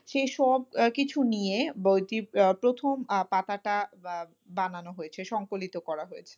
সে সবকিছু নিয়ে বইটির প্রথম আহ পাতাটা, বা বানানো হয়েছে সংকলিত করা হয়েছে।